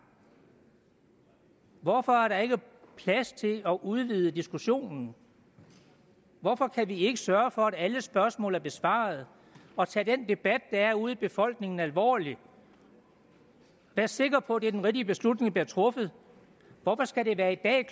hvorfor er der ikke plads til at udvide diskussionen hvorfor kan vi ikke sørge for at alle spørgsmål er besvaret og tage den debat der er ude i befolkningen alvorligt og være sikre på at det er den rigtige beslutning der bliver truffet hvorfor skal det være i dag